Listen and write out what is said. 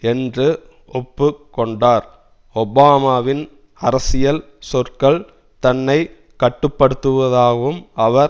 என்று ஒப்பு கொண்டார் ஒபாமாவின் அரசியல் சொற்கள் தன்னை கட்டுப்படுத்துவதாகவும் அவர்